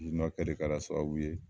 I makɛ de kɛra sababu ye